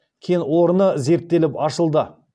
кен орнын зерттеліп ашылды